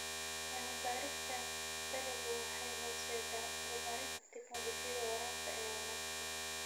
Cilmi-baarista dalaggu waxay horseedaa horumarinta tignoolajiyada waraabka ee wanaagsan.